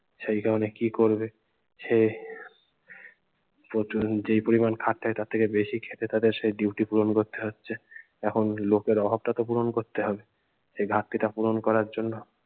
সেই কারনে কি করবে সে প্রচুর যেই পরিমান খাটতে হয় তার থেকে বেশি খেটেতাদের সেই duty পূরণ করতে হচ্ছে। এখন লোকের অভাব টা তো পূরণ করতে হবে সে ঘাটতিটা পূরণ করার জন্য